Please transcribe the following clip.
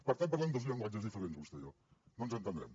per tant parlem dos llenguatges diferents vostè i jo no ens entendrem